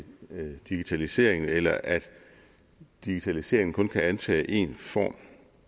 digitalisering eller at digitalisering kun kan indtage én form